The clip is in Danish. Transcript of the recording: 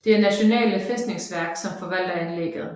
Det er Nasjonale Festningsverk som forvalter anlægget